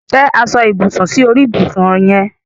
Te aso-ibusun sori ibusun yen